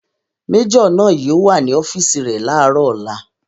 Majọ náà yóò wà ní ọ́fìsì rẹ̀ ní àárọ̀ ọ̀la